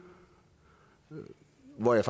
gav jeg